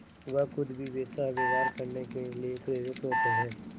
वह खुद भी वैसा व्यवहार करने के लिए प्रेरित होते हैं